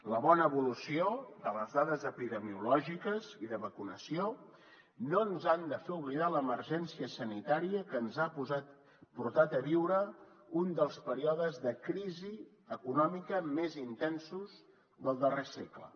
la bona evolució de les dades epidemiològiques i de vacunació no ens han de fer oblidar l’emergència sanitària que ens ha portat a viure un dels períodes de crisi econòmica més intensos del darrer segle